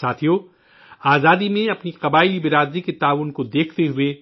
ساتھیو، آزادی میں اپنی قبائلی برادری کے تعاون کو دیکھتے ہوئے